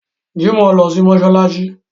Jimoh lọ sí mọ́ṣáláṣí